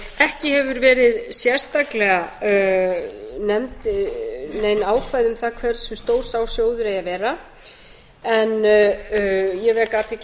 ekki hafa verið sérstaklega nefnd nein ákvæði um það hversu stór sá sjóður eigi að vera en ég vek athygli